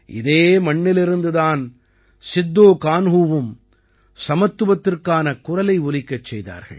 இதே மண்ணிலிருந்து தான் சித்தோகான்ஹூவும் சமத்துவத்திற்கான குரலை ஒலிக்கச் செய்தார்கள்